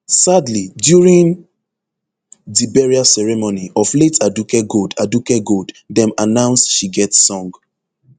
sadly during di burial ceremony of late aduke gold aduke gold dem announce she get song